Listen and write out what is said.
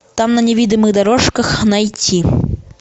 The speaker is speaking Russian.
там на невиданных дорожках найти